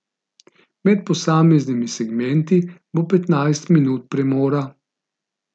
Med posameznimi segmenti bo petnajst minut premora.